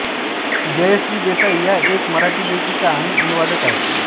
जयश्री देसाई या एक मराठी लेखिका आणि अनुवादक आहेत